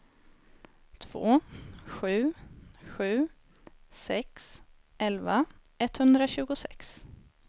två sju sju sex elva etthundratjugosex